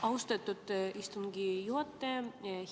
Austatud istungi juhataja!